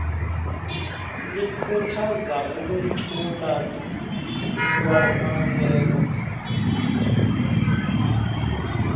likhuthaza uphuculo lwamaseko